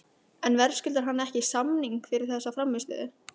En verðskuldar hann ekki samning fyrir þessa frammistöðu?